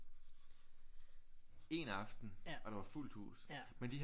Én aften og der var fuldt hus men de havde